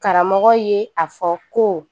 Karamɔgɔ ye a fɔ ko